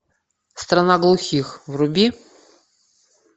страна глухих вруби